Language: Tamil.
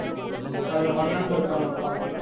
அதுல பண்ணண்டு இருக்கா மொத்தம்